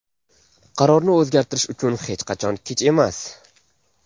Qarorni o‘zgartirish uchun hech qachon kech emas”.